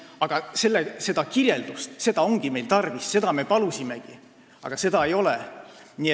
Aga seda kirjeldust ongi meil tarvis, seda me palusimegi, aga seda ei ole.